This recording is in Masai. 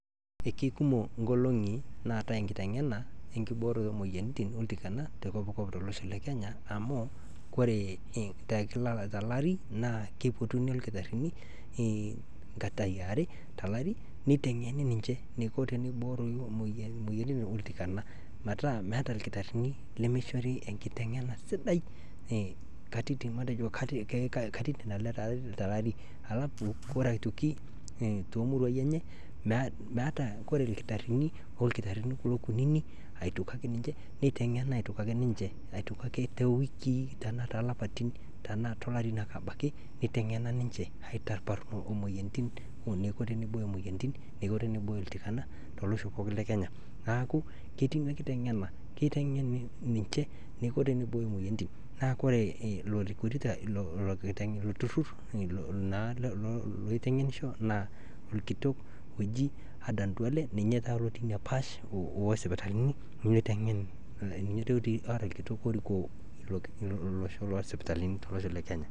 Ekekumok inkolongi naatae enkitengena enkibooroto oomoyiarritin oltikana to kopkop olosho le kenya amu oree te kila lari naa ekeipotuni lkitarini nkatae aare te lari neitengeni ninche neiko teneibooyo imoiyiarritin oltikana meeta meata orkitarini lemeichori enkitengena sidai nkatitin matejo aare te lari alafu koree aitoki te muruaai enye meatae oree ilkitarini okulo lkitarini kunini aitoki ninche neitengeni aitoki ake to wiki tena too lapatin tenaa to lari ake abaki eitengena ninche aitaparuparu kule imoyiarritin neiko teneibooyo imoyiarritin neiko teneibooyo oltikana te losho pookin le kenya neaku ketii ina enkitengena, keitengeni ninche teneibooyo imoyiarritin naaku koree ilo tururr naa oitengenisho naa irkitok oji Aden Duale ninye taata otii ina paash oo sipitalini oitengen, ninye taata otii ora ilkitok orikoo losho loo sipitalini to losho kenya.